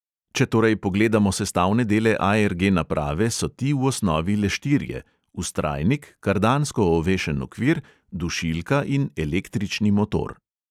Če torej pogledamo sestavne dele ARG naprave, so ti v osnovi le štirje: vztrajnik, kardansko ovešen okvir, dušilka in električni motor.